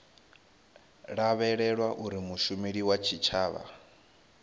lavhelelwa uri mushumeli wa tshitshavha